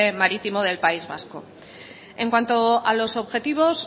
marítimo del país vasco en cuanto a los objetivos